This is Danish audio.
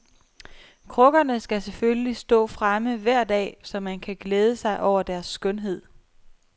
Krukkerne skal selvfølgelig stå fremme hver dag, så man kan glæde sig over deres skønhed.